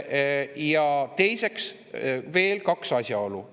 Ja on veel kaks asjaolu.